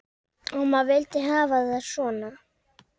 Amma vildi hafa það svona.